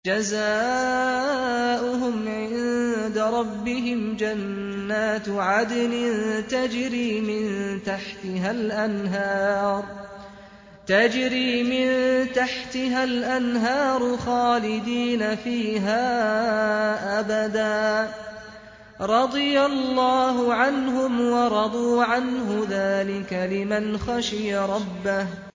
جَزَاؤُهُمْ عِندَ رَبِّهِمْ جَنَّاتُ عَدْنٍ تَجْرِي مِن تَحْتِهَا الْأَنْهَارُ خَالِدِينَ فِيهَا أَبَدًا ۖ رَّضِيَ اللَّهُ عَنْهُمْ وَرَضُوا عَنْهُ ۚ ذَٰلِكَ لِمَنْ خَشِيَ رَبَّهُ